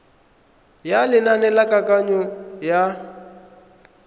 ya lenane la kananyo ya